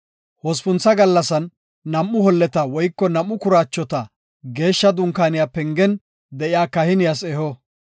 Hospuntha gallasan nam7u holleta woyko nam7u kuraachota Geeshsha Dunkaaniya pengen de7iya kahiniyas eho.